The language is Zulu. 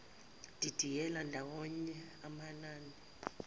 didiyela ndawonye amanani